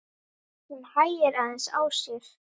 Hún hægir aðeins á sér.